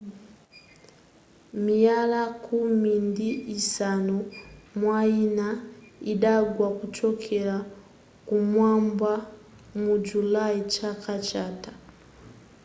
miyala khumi ndi isanu mwayina idagwa kuchokera kumwamba mu julayi chaka chatha